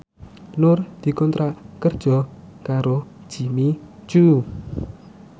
Nur dikontrak kerja karo Jimmy Coo